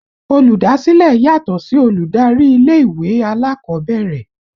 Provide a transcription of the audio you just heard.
Olùdásílẹ̀ yàtọ̀ sí olùdarí ilé ìwé alákọ̀ọ́bẹ̀rẹ̀